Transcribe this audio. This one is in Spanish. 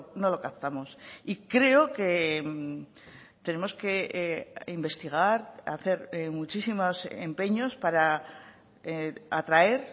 no lo captamos y creo que tenemos que investigar hacer muchísimos empeños para atraer